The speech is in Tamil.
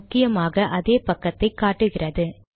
முக்கியமாக அதே பக்கத்தை காட்டுகிறது